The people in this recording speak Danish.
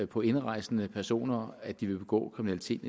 på indrejsende personer at de vil begå kriminalitet